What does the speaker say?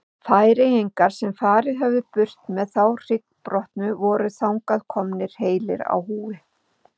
Færeyingarnir sem farið höfðu burt með þá hryggbrotnu voru þangað komnir heilir á húfi.